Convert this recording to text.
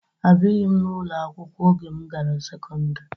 Abighị m n'ụlọ akwụkwọ oge m gara sekọndrị.